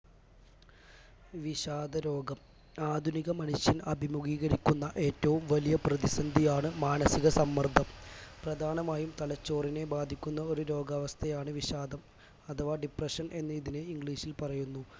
വിഷാദരോഗം ആധുനിക മനുഷ്യൻ അഭിമുഖീകരിക്കുന്ന ഏറ്റവും വലിയ പ്രതിസന്ധിയാണ് മാനസിക സമ്മർദം പ്രധാനമായും തലച്ചോറിനെ ബാധിക്കുന്ന ഒരു രോഗാവസ്ഥയാണ് വിഷാദം അഥവാ depression എന്ന് ഇതിനെ english ൽ പറയുന്നു